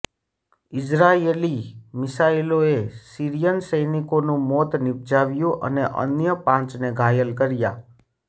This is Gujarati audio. ઈઝરાયેલી મિસાઈલોએ સીરિયન સૈનિકનું મોત નિપજાવ્યું અને અન્ય પાંચને ઘાયલ કર્યા